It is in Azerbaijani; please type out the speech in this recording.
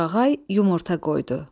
Torğay yumurta qoydu.